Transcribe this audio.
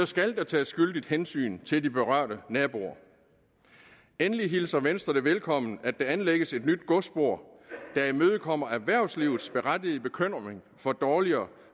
skal der tages skyldigt hensyn til de berørte naboer endelig hilser venstre det velkommen at der anlægges et nyt godsspor der imødekommer erhvervslivets berettigede bekymring for dårligere